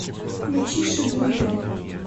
включи шибуя